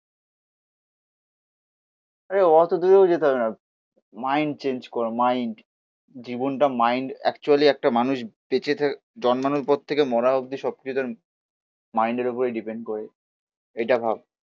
আরে অত দূরেও যেতে হবে না মাইন্ড চেঞ্জ কর মাইন্ড জীবনটা মাইন্ড অ্যাকচুয়েলি একটা মানুষ বেঁচে থাকা জন্মানোর পর থেকে মরা অব্দি সব কিছু তার মাইন্ড এর উপরে ডিপেন্ করে এটা ভাব.